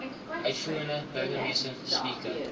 uitvoerende burgemeester speaker